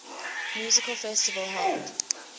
music festival held